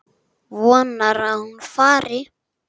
Vonar að hún fari.